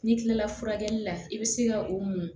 N'i kilala furakɛli la i bɛ se ka o mun